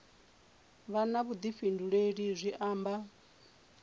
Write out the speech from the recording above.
vha na vhuḓifhinduleli zwi amba